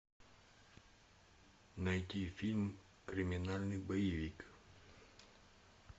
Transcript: найди фильм криминальный боевик